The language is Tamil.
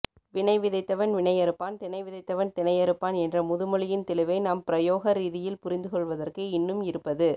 வினைவிதைத்தவன் வினையறுப்பான் தினைவிதைத்தவன் தினையறுப்பான் என்ற முதுமொழியின் தெளிவை நாம் பிரயோக ரீதியில் புரிந்துகொள்வதற்கு இன்னும் இருப்பது